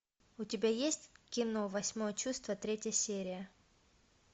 у тебя есть кино восьмое чувство третья серия